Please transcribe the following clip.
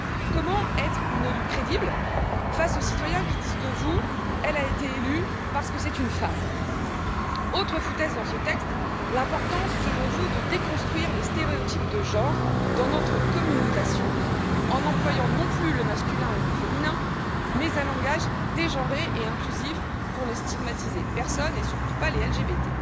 Comment être une élue crédible face aux citoyens qui disent de vous elle a été élue parce que c'est une femme? Autre foutaise dans ce texte, l'importance, selon vous, de déconstruire les stéréotypes de genre dans notre communication, en employant non plus le masculin ou le féminin mais un langage dégenré et inclusif pour ne stigmatiser personne et surtout pas les LGBT.